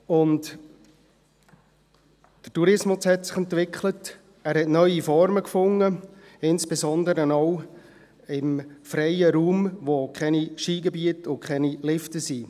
Der Tourismus hat sich entwickelt und neue Formen gefunden, insbesondere auch im freien Raum, wo es keine Skigebiete und keine Lifte hat.